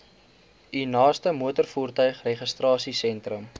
u naaste motorvoertuigregistrasiesentrum